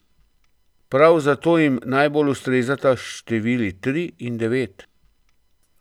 Prav zato jim najbolj ustrezata števili tri in devet.